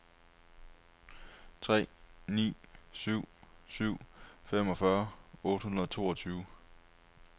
tre ni syv syv femogfyrre otte hundrede og toogtyve